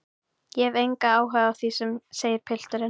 Ég hef engan áhuga á því, segir pilturinn.